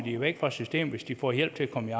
væk fra systemet hvis de får hjælp til at komme